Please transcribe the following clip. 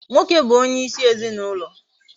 Nwoke bu onye isi ezinaulo